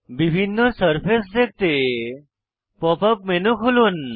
বিভিন্ন সারফেস দেখতে pop up menu খুলুন